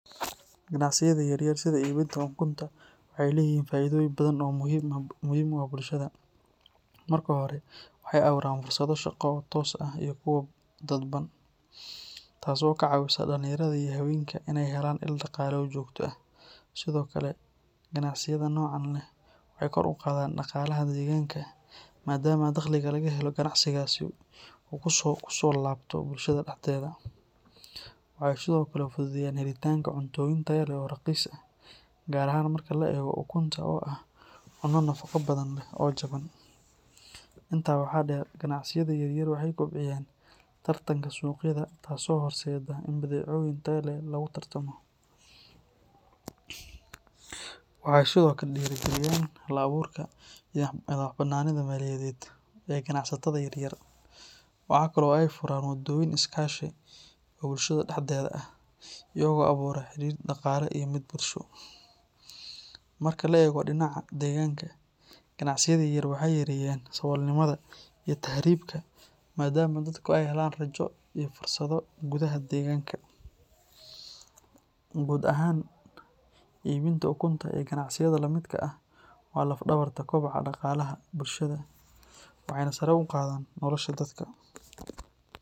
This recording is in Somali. Ganacsiyada yar yar sida iibinta ukunta waxay leeyihiin faa’iidooyin badan oo muhiim u ah bulshada. Marka hore, waxay abuuraan fursado shaqo oo toos ah iyo kuwo dadban, taasoo ka caawisa dhalinyarada iyo haweenka inay helaan il dhaqaale oo joogto ah. Sidoo kale, ganacsiyada noocan ah waxay kor u qaadaan dhaqaalaha deegaanka maadaama dakhliga laga helo ganacsigaasi uu kusoo laabto bulshada dhexdeeda. Waxay sidoo kale fududeeyaan helitaanka cuntooyin tayo leh oo raqiis ah, gaar ahaan marka la eego ukunta oo ah cunno nafaqo badan leh oo jaban. Intaa waxaa dheer, ganacsiyada yaryar waxay kobciyaan tartanka suuqyada taasoo horseedda in badeecooyin tayo leh lagu tartamo. Waxay sidoo kale dhiirrigeliyaan hal-abuurka iyo madax-bannaanida maaliyadeed ee ganacsatada yaryar. Waxa kale oo ay furaan waddooyin iskaashi oo bulshada dhexdeeda ah, iyagoo abuura xidhiidh dhaqaale iyo mid bulsho. Marka laga eego dhinaca deegaanka, ganacsiyada yaryar waxay yareeyaan saboolnimada iyo tahriibka maadaama dadku ay helaan rajo iyo fursado gudaha deegaanka. Guud ahaan, iibinta ukunta iyo ganacsiyada la midka ah waa laf-dhabarta kobaca dhaqaalaha bulshada waxayna sare u qaadaan nolosha dadka.